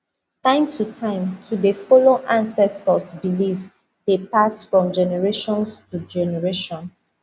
time to time to dey follow ancestors beliefs dey pass from generations to generation